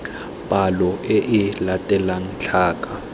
palo e e latelang tlhaka